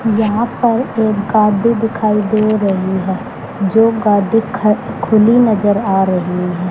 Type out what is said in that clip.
यहां पर एक गाड़ी दिखाई दे रही है जो गाड़ी ख खुली नजर आ रही है।